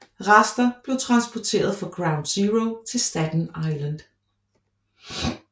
Rester blev transporteret fra Ground Zero til Staten Island